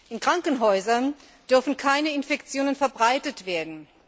In Krankenhäusern dürfen keine Infektionen verbreitet werden.